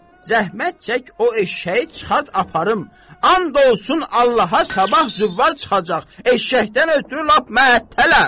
Zəhmət çək o eşşəyi çıxart aparım, and olsun Allaha sabah züvvar çıxacaq, eşşəkdən ötrü lap məəttələm.